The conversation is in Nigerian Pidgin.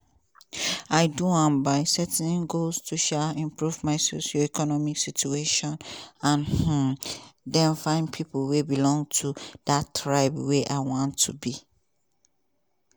i do am by setting goals to um improve my socio-economic situation and um den find pipo wey belong to dat tribe where i wan to be.